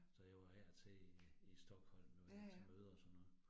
Så jeg var af og til i i Stockholm nu til møder og sådan noget